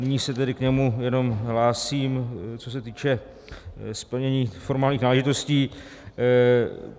Nyní se tedy k němu jenom hlásím, co se týče splnění formálních náležitostí.